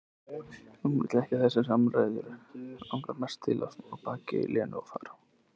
Hún vill ekki þessar samræður, langar mest til að snúa baki í Lenu, fara.